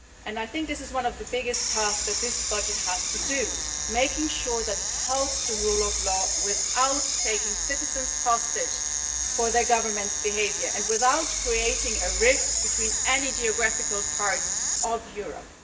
I think this is one of the biggest tasks that this budget has to do making sure that it helps the rule of law, without taking citizens hostage for their governments' behaviour and without creating a rift between any geographical parts of Europe.